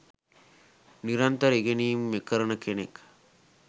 නිරන්තර ඉගෙනීම් කරන කෙනෙක්.